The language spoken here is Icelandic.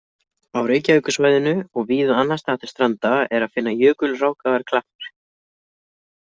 Á Reykjavíkursvæðinu og víða annars staðar til stranda er að finna jökulrákaðar klappir.